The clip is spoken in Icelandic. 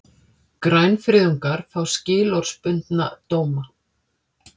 Grænfriðungar fá skilorðsbundna dóma